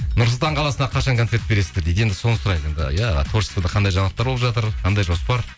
нұр сұлтан қаласына қашан концерт бересіздер дейді енді соны сұрайық енді иә творчествода қандай жаңалықтар болып жатыр қандай жоспар